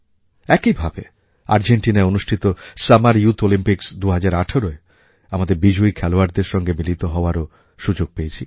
একই ভাবে আর্জেন্টিনায় অনুষ্ঠিত সামার ইউথ অলিম্পিক্স 2018য় আমাদের বিজয়ী খেলোয়াড়দের সঙ্গে মিলিত হওয়ারও সুযোগ পেয়েছি